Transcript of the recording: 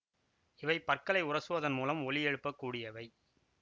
இவை பற்களை உரசுவதன் மூலம் ஒலியெழுப்பக் கூடியவை